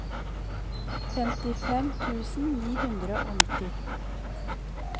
femtifem tusen ni hundre og nitti